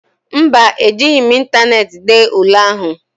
Mba, Ejighị m ịntaneetị dee ule ahụ